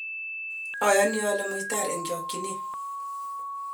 ayani ale muitar eng' chokchine